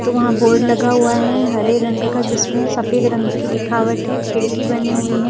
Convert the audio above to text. तो वहां बोर्ड लगा हुआ है हरे रंग का जिसमें सफेद रंग की लिखावट है खिड़की बनी हुई है।